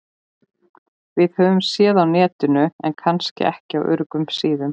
Höfum séð á Netinu- en kannski ekki á öruggum síðum.